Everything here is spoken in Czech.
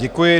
Děkuji.